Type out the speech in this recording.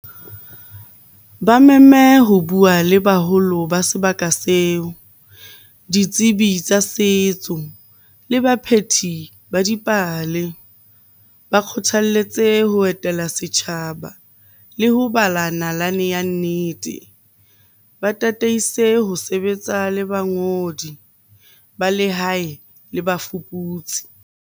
Ba meme ho bua le baholo ba sebaka seo. Ditsebi tsa setso le baphethi ba dipale. Ba kgothalletse tse ho etela setjhaba le ho bala nalane ya nnete. Ba tataise ho sebetsa le bangodi ba lehae le bafuputsi.